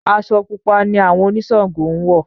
Aṣọ Pupa ni àwọn oniṣàngó ń wọ̀.